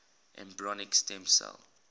embryonic stem cell